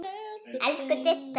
Elsku Didda.